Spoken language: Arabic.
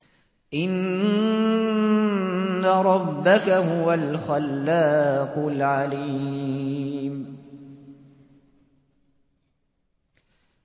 إِنَّ رَبَّكَ هُوَ الْخَلَّاقُ الْعَلِيمُ